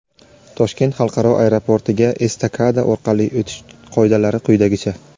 Toshkent xalqaro aeroportiga estakada orqali o‘tish qoidalari quyidagicha:.